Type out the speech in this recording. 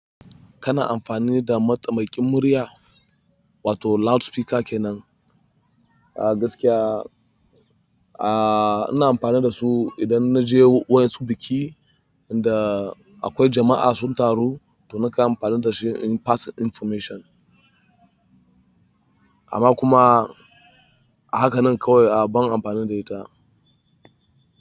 Kana amfani da mataimakin murya wato loudspeaker kenan? A gaskiya, a ina amfani da su idan naje wasu biki inda akwai jama'a sun taru, to naka amfani da shi in pass information. Amma kuma haka nan kawai a ban amfani da ita.